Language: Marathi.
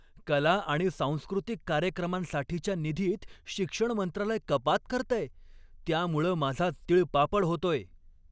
कला आणि सांस्कृतिक कार्यक्रमांसाठीच्या निधीत शिक्षण मंत्रालय कपात करतंय त्यामुळं माझा तिळपापड होतोय.